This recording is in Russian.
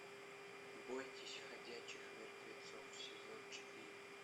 бойтесь ходячих мертвецов сезон четыре